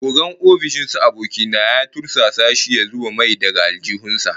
Ogan ofishin su aboki na ya tursasa shi ya zuba mai daga aljihun sa